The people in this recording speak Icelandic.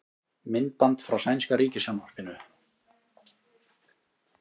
Myndband frá sænska ríkissjónvarpinu